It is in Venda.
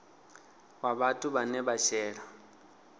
wa vhathu vhane vha shela